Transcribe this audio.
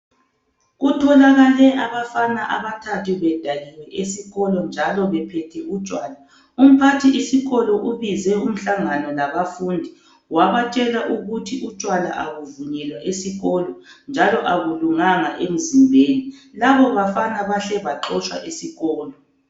Kutholakale abafana abathathu bedakiwe esikolo njalo bephethe utshwala. Umphathisikolo ubize umhlangano labafundi wabatshela ukuthi utshwala abuvunyelwa esikolo njalo abulunganga emzimbeni. Labobafana bahle baxotshwa isikolo.